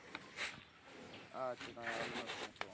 अच्छा नाही आलो नसतो मग तेव्हा.